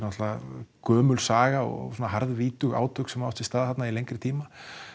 gömul saga og harðvítug átök sem hafa átt sér stað þarna í lengri tíma